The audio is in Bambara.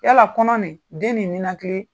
Yala kɔnɔ nin den ninakili